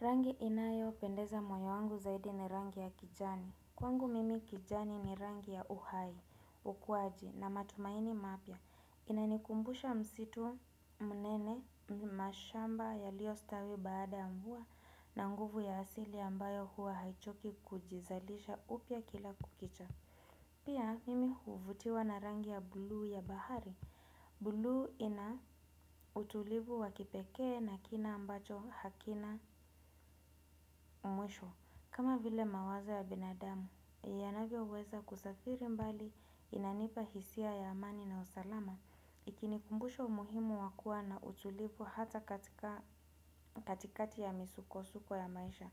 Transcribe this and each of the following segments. Rangi inayopendeza moyo wangu zaidi ni rangi ya kijani. Kwangu mimi kijani ni rangi ya uhai ukuwaji na matumaini mapya. Inanikumbusha msitu mnene mashamba yali stawi baada ya mvua na nguvu ya asili ambayo huwa haichoki kujizalisha upya kila kukicha. Pia mimi huvutiwa na rangi ya blue ya bahari. Blue ina utulivu wa kipekee na kina ambacho hakina mwisho. Kama vile mawazo ya binadamu, yanavyoweza kusafiri mbali inanipa hisia ya amani na usalama, ikinikumbusha umuhimu wa kuwa na utulivu hata katikati ya misuko-suko ya maisha.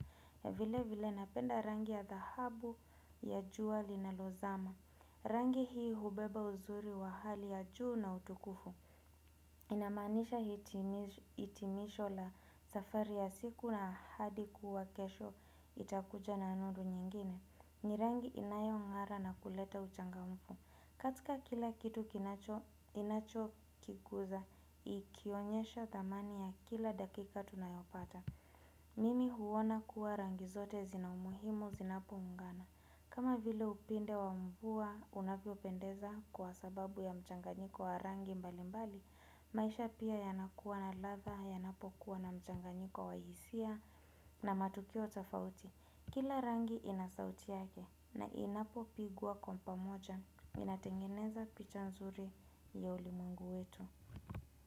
Vilevile napenda rangi ya dhahabu ya jua linalozama. Rangi hii hubeba uzuri wa hali ya juu na utukufu. Inamaanisha hitimisho la safari ya siku na ahadi kuwa kesho itakuja na nuru nyingine. Ni rangi inayo ng'ara na kuleta uchangamfu. Katika kila kitu inachokikuza, ikionyesha thamani ya kila dakika tunayopata. Mimi huona kuwa rangi zote zina umuhimu zinapo ungana. Kama vile upinde wa mvua unavyopendeza kwa sababu ya mchanganyiko wa rangi mbali mbali. Maisha pia yanakuwa na ladha yanapokuwa na mchanganyiko wa hisia na matukio tofauti. Kila rangi ina sauti yake na inapopigwa kwa pamoja inatengeneza picha nzuri ya ulimwengu wetu.